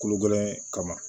Kolo gɛlɛn kama